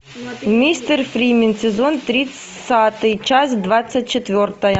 мистер фримен сезон тридцатый часть двадцать четвертая